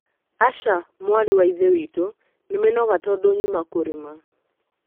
Aca mwarĩ wa ithe witũ. Nĩ minoga tũndũ nyuma kũrĩma.